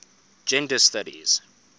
gender studies